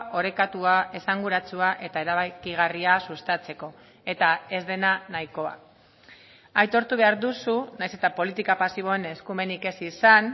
orekatua esanguratsua eta erabakigarria sustatzeko eta ez dena nahikoa aitortu behar duzu nahiz eta politika pasiboen eskumenik ez izan